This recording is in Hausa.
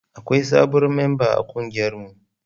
Akwai sabon memba a kungiyarmu.